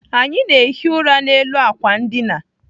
Anyị na-ehi ụra n'elu àkwà ndina.